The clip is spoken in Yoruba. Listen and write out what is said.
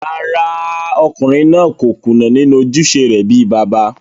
Rárá, ọkùnrin náà kò kùnà nínú ojúṣe rẹ̀ bíi bàbá